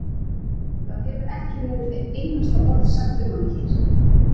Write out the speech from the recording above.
Það hefur ekki verið eitt einasta orð sagt um hana hér.